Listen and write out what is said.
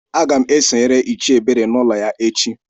Agam esonyere Ichie Ebere n'ulo ya echi.